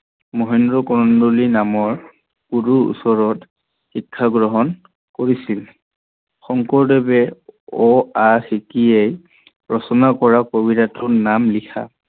মহেন্দ্ৰ কন্দলী নামৰ গুৰুৰ ওচৰত শিক্ষা গ্ৰহন কৰিছিল। শংকৰদেৱে অ, আ শিকিয়েই ৰচনা কৰা কবিতাটোৰ নাম লিখা